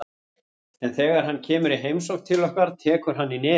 En þegar hann kemur í heimsókn til okkar tekur hann í nefið.